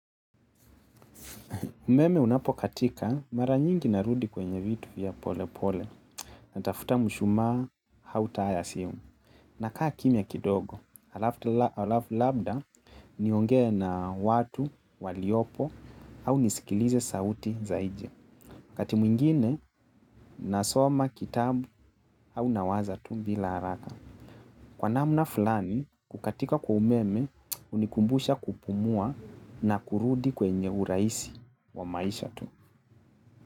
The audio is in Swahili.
Umeme unapokatika mara nyingi narudi kwenye vitu vya pole pole. Natafuta mshuma au taa ya simu. Nakaa kimya kidogo. Alafu labda niongee na watu waliopo au nisikilize sauti za nje. Wakati mwingine nasoma kitabu au nawaza tu bila haraka. Kwa namna fulani, kukatika kwa umeme hunikumbusha kupumua na kurudi kwenye urahisi wa maisha tu.